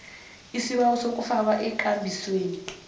isibawo sokufakwa ekambisweni